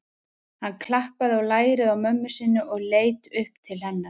Hann klappaði á lærið á mömmu sinni og leit upp til hennar.